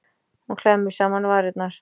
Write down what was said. Hún klemmir saman varirnar.